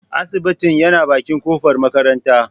Asibitin yana bakin kofar makaranta.